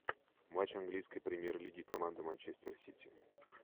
матч английской премьер лиги команды манчестер сити